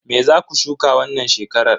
Me zaku shuka wannan shekarar?